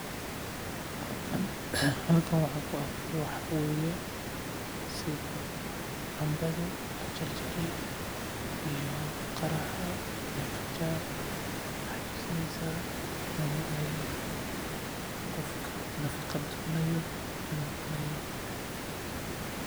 Halkan waxaan ku arko waxaa waye sida canbada la jarjare iyo qaraha iyo qajaar waxeey tusineysa qofka nafaqo donayo oo cunayo.